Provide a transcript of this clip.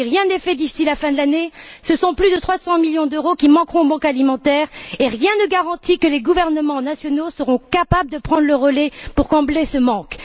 Si rien n'est fait d'ici la fin de l'année, ce sont plus de 300 millions d'euros qui manqueront aux banques alimentaires, et rien ne garantit que les gouvernements nationaux seront capables de prendre le relais pour combler ce manque.